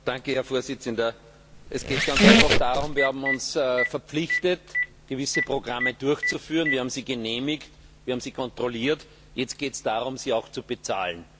Herr Präsident! Es geht ganz einfach darum, dass wir uns verpflichtet haben, gewisse Programme durchzuführen. Wir haben sie genehmigt, wir haben sie kontrolliert, jetzt geht es darum, sie auch zu bezahlen.